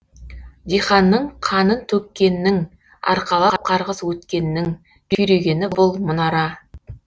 диханның қанын төккеннің арқалап қарғыс өткеннің күйрегені бұл мұнара